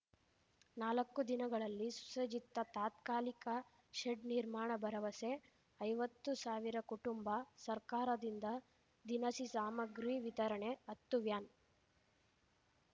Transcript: ನಾಲಕ್ಕು ದಿನಗಳಲ್ಲಿ ಸುಸಜ್ಜಿತ ತಾತ್ಕಾಲಿಕ ಶೆಡ್‌ ನಿರ್ಮಾಣ ಭರವಸೆ ಐವತ್ತು ಸಾವಿರ ಕುಟುಂಬ ಸರ್ಕಾರದಿಂದ ದಿನಸಿ ಸಾಮಗ್ರಿ ವಿತರಣೆ ಹತ್ತು ವ್ಯಾನ್‌